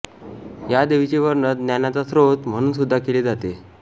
या देवीचे वर्णन ज्ञानाचा स्रोत म्हणूनसुद्धा केले जाते